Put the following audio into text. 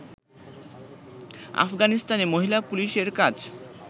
আফগানিস্তানে মহিলা পুলিশের কাজ